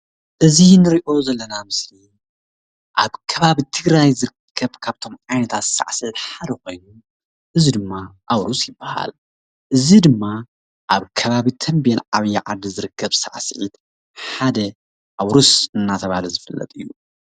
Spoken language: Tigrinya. እዚ ንሪኦ ዘለና ምስሊ ኣብ ከባቢ ትግራይ ዝርከብ ካብቶም ዓይነታት ሳዕስዒት ሓደ ኮይኑ እዚ ድማ ኣዉርስ ይበሃል። እዚ ድማ ኣብ ከባቢ ተምቤን ዓብዪ ዓዲ ዝርከብ ሳዕስዒት ሓደ ኣዉርስ እናተብሃለ ዝፍለጥ እዪ ።